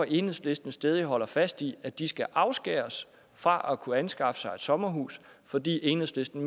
enhedslisten stædigt holder fast i at de skal afskæres fra at kunne anskaffe sig et sommerhus fordi enhedslisten